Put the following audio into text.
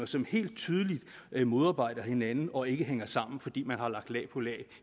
som helt tydeligt modarbejder hinanden og ikke hænger sammen fordi man har lagt lag på lag